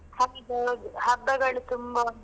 ಹೌದು ಹೌದು, ಹಬ್ಬಗಳು ತುಂಬಾ ಉಂಟು.